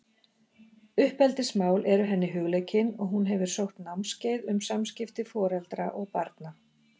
Uppeldismál eru henni hugleikin og hún hefur sótt námskeið um samskipti foreldra og barna.